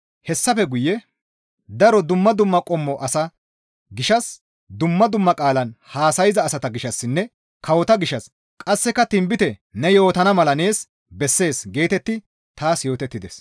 Hessafe guye, «Daro dumma dumma qommo asa gishshas dumma dumma qaalan haasayza asata gishshassinne kawota gishshas qasseka tinbite ne yootana mala nees bessees» geetettidi taas yootettides.